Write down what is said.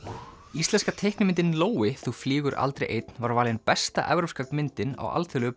íslenska teiknimyndin þú flýgur aldrei einn var valin besta evrópska myndin á Alþjóðlegu